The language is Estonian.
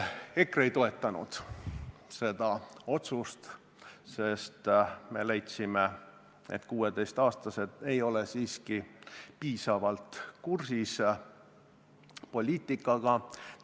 EKRE ei toetanud seda otsust, sest me leidsime, et 16-aastased ei ole siiski piisavalt poliitikaga kursis.